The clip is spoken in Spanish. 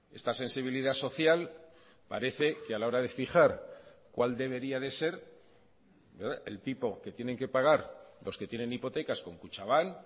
esta sensibilidad social parece que a la hora de fijar cuál debería de ser el tipo que tienen que pagar los que tienen hipotecas con kutxabank